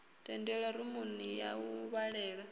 tendelwa rumuni ya u vhalela